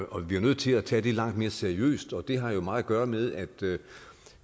bliver nødt til at tage det langt mere seriøst og det har jo meget at gøre med at